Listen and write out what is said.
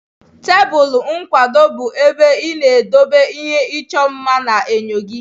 Tebụl nkwado bụ ebe ị na-edobe ihe ịchọ mma na enyo gị.